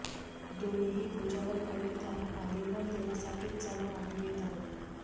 दोन्हीही भुजा वर करून त्यांना आलिंगन देण्यासाठीच जणू आम्ही येत आहोत